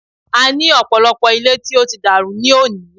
A ní ọ̀pọ̀lọpọ̀ ilé tó ti dàrú ní òní.